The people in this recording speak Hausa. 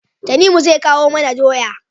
Tanimu zai kawo mana doya